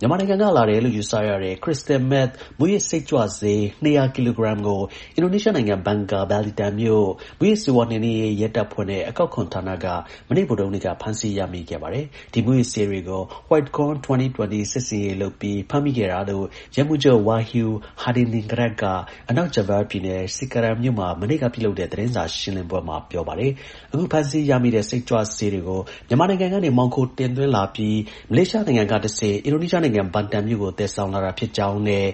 မြန်မာနိုင်ငံက လာတယ်လို့ ယူဆရတဲ့ crystal meth မူးယစ်စိတ်ကြွဆေး ၂၀၀ ကီလိုဂရမ်ကို အင်ဒိုနီးရှားနိုင်ငံ Bangka Belitung မြို့ မူးယစ်ဆေးဝါးနှိမ်နှင်းရေး ရဲတပ်ဖွဲ့နဲ့ အကောက်ခွန်ဌာန က မနေ့ ဗုဒ္ဓဟူးနေ့က ဖမ်းဆီးရမိခဲ့ပါတယ်။ ဒီမူးယစ်ဆေးတွေ ကို White Corn 2020 စစ်ဆင်ရေးလုပ်ပြီး ဖမ်းမိခဲ့တာလို့ ရဲမှူးချုပ် Wahyu Hadiningrat က အနောက် Java ပြည်နယ်၊ Cikarang မြို့ မှာ မနေ့က ပြုလုပ်တဲ့ သတင်းစာ ရှင်းလင်းပွဲမှာ ပြောပါတယ်။ အခု ဖမ်းဆီးရတဲ့ စိတ်ကြွဆေးတွေကို မြန်မာနိုင်ငံကနေ မှောင်ခိုတင်သွင်းလာပြီး မလေးရှားက တဆင့် အင်ဒိုနီးရှားနိုင်ငံ Batam မြို့ကို သယ်ဆောင်လာတာဖြစ်ကြောင်းနဲ့